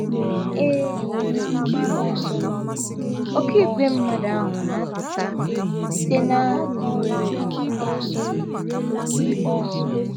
Ee, um oké igwe mmadụ ahụ na - apụta site ‘ ná um mba nile. ’